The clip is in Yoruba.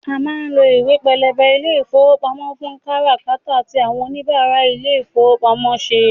A má ń lo ìwé pélébé ilé ìfowópamọ́ fún kára kátà tí àwọn òníbarà ilé ìfowópamọ́ ń ṣe